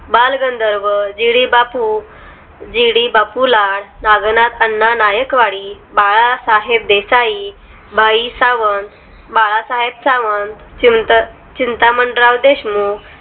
Balgandharva G D Bapu G D Bapu Lad Nagnath Anna Naikwadi Balasaheb Desai बाई सावंत बाळासाहेब सावंत चिंता चिंतामणराव देशमुख